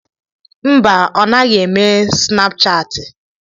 Mba, ọ naghị eme snapchaati.